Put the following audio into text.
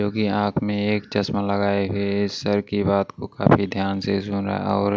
जो कि आंख में एक चश्मा लगाए हुए सर की बात को काफी ध्यान से सुन रहा और--